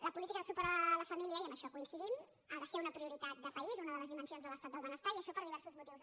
la política de suport a la família i en això coinci·dim ha de ser una prioritat de país una de les dimen·sions de l’estat del benestar i això per diversos motius